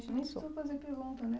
A gente nem precisou fazer pergunta, né?